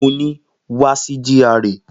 Mo ni, wa si GRA!